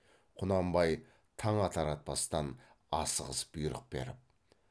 құнанбай таң атар атпастан асығыс бұйрық беріп